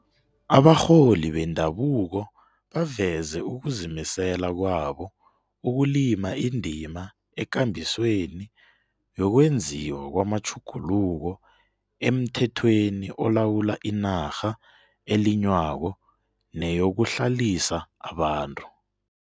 Abarholi bendabuko baveze ukuzimisela kwabo ukulima indima ekambisweni yokwenziwa kwamatjhuguluko emthethweni olawula inarha elinywako neyokuhlalisa abantu.